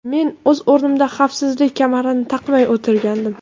Men o‘z o‘rnimda xavfsizlik kamarini taqmay o‘tirgandim.